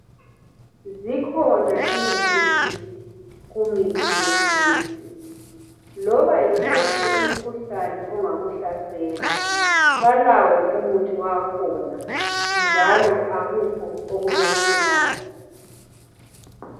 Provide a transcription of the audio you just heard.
zikhona ingcitshi kumithi yesintu loba yiwuphi umkhuhlane ongakuhlasela balawo umuthi wakhona njalo akukho okubehlulayo